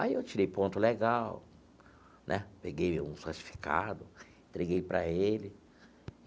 Aí eu tirei ponto legal né, peguei um certificado, entreguei para ele.